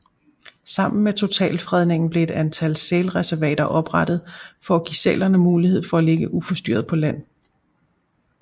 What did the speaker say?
Sammen med totalfredningen blev et antal sælreservater oprettet for at give sælerne mulighed for at ligge uforstyrret på land